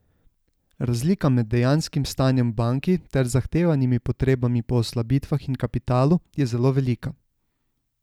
Razlika med dejanskim stanjem v banki ter zahtevanimi potrebami po oslabitvah in kapitalu je zelo velika.